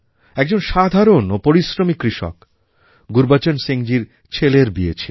একজন সাধারণ ও পরিশ্রমী কৃষক গুরুবচন সিংজীর ছেলের বিয়ে ছিল